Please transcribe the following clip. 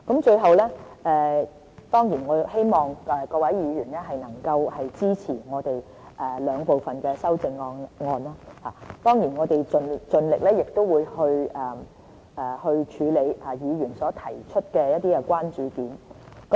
最後，我希望各位議員能夠支持我們兩部分的修正案，我們也會盡力去處理議員所提出的關注點。